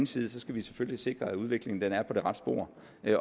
side selvfølgelig sikrer at udviklingen er på det rette spor